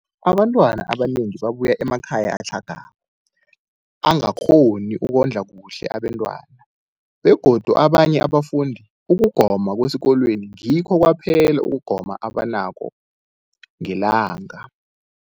Abantwana abanengi babuya emakhaya atlhagako angakghoni ukondla kuhle abentwana, begodu kabanye abafundi, ukugoma kwesikolweni ngikho kwaphela ukugoma abanakho ngelanga.